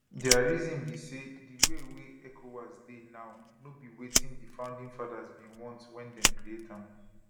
dia reason be say di way wey ecowas dey now no be wetin di founding fathers bin want wen dem create am